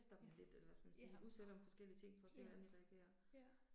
Ja, ja. Ja, ja